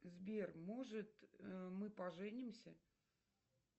сбер может мы поженимся